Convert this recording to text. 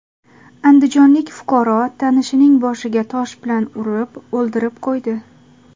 Andijonlik fuqaro tanishining boshiga tosh bilan urib, o‘ldirib qo‘ydi.